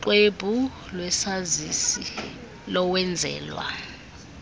noxwebhu lwesazisi lowenzelwa